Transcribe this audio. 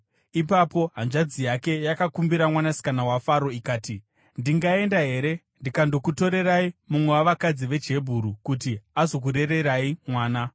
Ipapo hanzvadzi yake yakakumbira mwanasikana waFaro ikati, “Ndingaenda here ndikandokutorerai mumwe wavakadzi vechiHebheru kuti azokurererai mwana?”